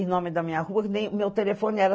E o nome da minha rua... O meu telefone era